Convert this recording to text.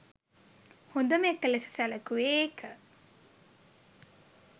හොඳම එක ලෙස සැලකුවේ ඒක